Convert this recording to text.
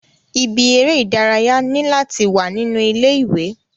Ibi eré ìdárayá ni láti wà nínú ilé ìwé.